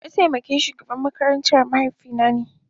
Mataimakin shugaban makarantar mahaifina ne.